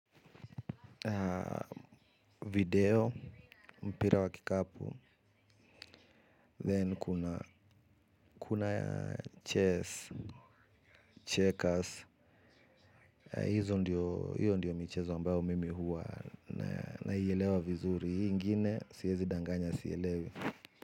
Video mpira wa kikapu then kuna chess checkers hizo ndiyo michezo ambayo mimi huwa naielewa vizuri hii ingine siezi danganya sielewi.